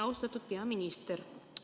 Austatud peaminister!